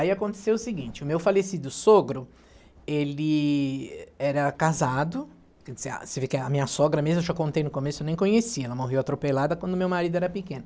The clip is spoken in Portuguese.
Aí aconteceu o seguinte, o meu falecido sogro, ele era casado, você vê que a minha sogra mesmo, eu já contei no começo, eu nem conhecia, ela morreu atropelada quando o meu marido era pequeno.